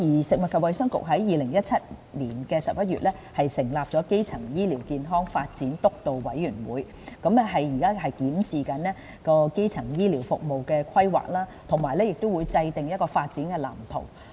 食物及衞生局於2017年11月成立的基層醫療健康發展督導委員會，現正檢視基層醫療服務的規劃及制訂發展藍圖。